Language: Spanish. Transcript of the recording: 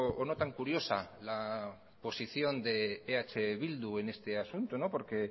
o no tan curiosa la posición de eh bildu en este asunto porque